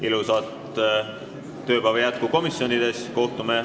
Ilusat tööpäeva jätku komisjonides!